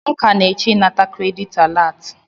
M ka na-eche ịnata kredit alat.